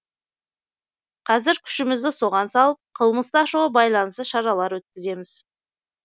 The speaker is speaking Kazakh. қазір күшімізді соған салып қылмысты ашуға байланысты шаралар өткіземіз